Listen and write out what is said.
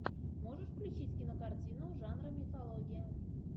можешь включить кинокартину жанра мифология